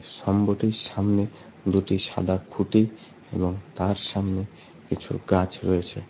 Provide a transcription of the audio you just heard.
স্তম্ভটির সামনে দুটি সাদা খুটি এবং তার সামনে কিছু গাছ রয়েছে।